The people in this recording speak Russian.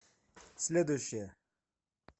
следующая